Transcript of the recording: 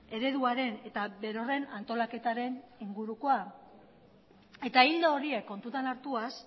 ereduaren eta berorren antolaketaren ingurukoa eta ildo horiek kontutan hartuaz